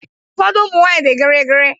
Ụfọdụ ụmụ nwanyị dị gịrịgịrị.